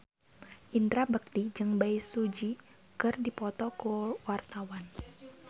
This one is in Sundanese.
Indra Bekti jeung Bae Su Ji keur dipoto ku wartawan